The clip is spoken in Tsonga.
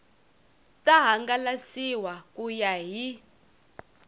ta hangalasiwa ku ya hi